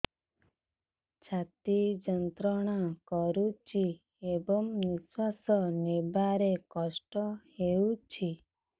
ଛାତି ଯନ୍ତ୍ରଣା କରୁଛି ଏବଂ ନିଶ୍ୱାସ ନେବାରେ କଷ୍ଟ ହେଉଛି